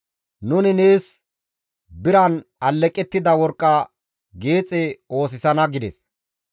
Nuni nees biran alleqettida worqqa geexe oosisana» gides.